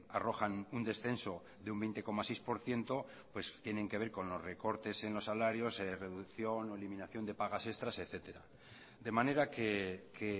arrojan un descenso de un veinte coma seis por ciento pues tienen que ver con los recortes en los salarios reducción o eliminación de pagas extras etcétera de manera que